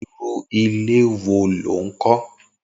Irù ilé wó ló n kọ